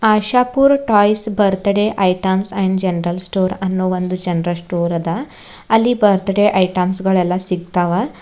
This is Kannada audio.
Ashapur toys birthday items and general store ಅನ್ನೋ ಒಂದ್ ಜನರಲ್ ಸ್ಟೋರ್ ಅದ ಅಲ್ಲಿ ಬರ್ತ್ಡೇ ಐಟೆಮ್ಸ ಗಳೆಲ್ಲ ಸಿಗ್ತಾವ.